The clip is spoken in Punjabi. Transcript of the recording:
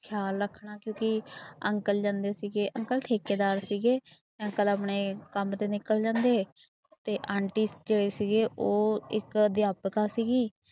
ਖਿਆਲ ਰੱਖਣਾ ਕਿਉਂਕਿ ਅੰਕਲ ਜਾਂਦੇ ਸੀਗੇ ਅੰਕਲ ਠੇਕੇਦਾਰ ਸੀਗੇ, ਅੰਕਲ ਆਪਣੇ ਕੰਮ ਤੇ ਨਿੱਕਲ ਜਾਂਦੇ ਤੇ ਆਂਟੀ ਜਿਹੜੇ ਸੀਗੇ ਉਹ ਇੱਕ ਅਧਿਆਪਕਾ ਸੀਗੀ।